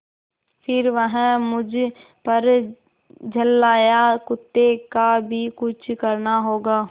फिर वह मुझ पर झल्लाया कुत्ते का भी कुछ करना होगा